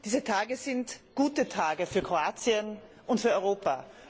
Diese Tage sind gute Tage für Kroatien und für Europa.